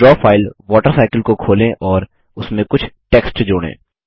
draw file water cycle को खोलें और इसमें कुछ टेक्स्ट जोड़ें